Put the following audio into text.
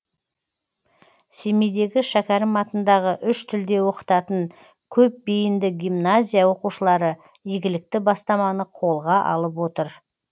семейдегі шәкәрім атындағы үш тілде оқытатын көпбейінді гимназия оқушылары игілікті бастаманы қолға алып отыр